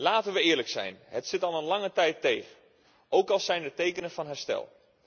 Laten we eerlijk zijn het zit al lange tijd tegen, ook al zijn er tekenen van herstel.